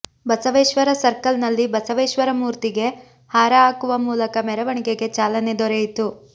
Basaveshwara circle ನಲ್ಲಿ ಬಸವೇಶ್ವರ ಮೂರ್ತಿಗೆ ಹಾರ ಹಾಕುವ ಮೂಲಕ ಮೆರವಣಿಗೆಗೆ ಚಾಲನೆ ದೊರೆಯಿತು